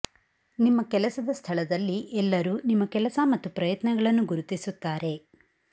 ನಿಮ್ಮ ಕೆಲಸದ ಸ್ಥಳದಲ್ಲಿ ಎಲ್ಲರೂ ನಿಮ್ಮ ಕೆಲಸ ಮತ್ತು ಪ್ರಯತ್ನಗಳನ್ನು ಗುರುತಿಸುತ್ತಾರೆ